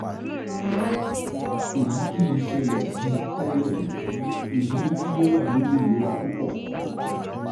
Èyí kì í ṣẹlẹ̀ sí i tẹ́lẹ̀, èyí mú kí ó wà nínú ìnira púpọ̀